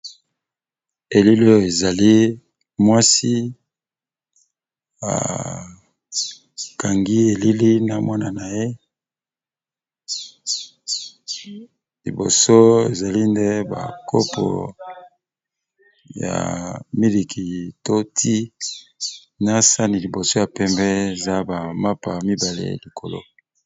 Elili oyo ezali mwasi akangi elili na mwana na ye, liboso ezali nde ba kopo ya miliki to ti na sani liboso ya pembe eza ba mapa mibale ya likolo.